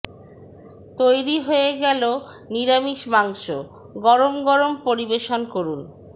তৈরি হয়ে গেল নিরামিষ মাংস গরম গরম পরিবেশন করুন